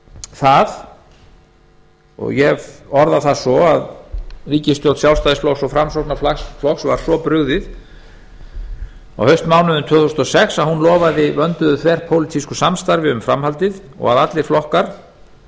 það og ég orða það svo að ríkisstjórn sjálfstæðisflokks og framsóknarflokks var svo brugðið á haustmánuðum tvö þúsund og sex að hún lofaði vönduðu þverpólitísku samstarfi um framhaldið og að allir flokkar